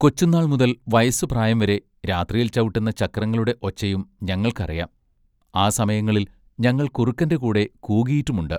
കൊച്ചുന്നാൾ മുതൽ വയസ്സുപ്രായം വരെ രാത്രിയിൽ ചവിട്ടുന്ന ചക്രങ്ങളുടെ ഒച്ചയും ഞങ്ങൾക്ക് അറിയാം ആ സമയങ്ങളിൽ ഞങ്ങൾ കുറുക്കന്റെ കൂടെ കൂകിയിട്ടുമുണ്ട്.